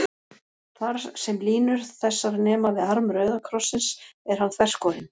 Þar, sem línur þessar nema við arm rauða krossins, er hann þverskorinn.